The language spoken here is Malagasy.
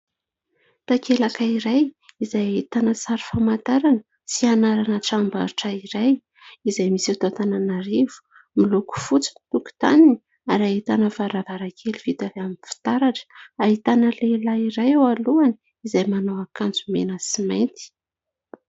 Takelaka iray izay ahitana sary famantarana sy anarana tranombarotra iray izay misy eto Antananarivo. Miloko fotsy ny tokontaniny ary ahitana varavarankely vita avy amin'ny fitaratra. Ahitana lehilahy iray eo alohany, izay manao akanjo mena sy mainty.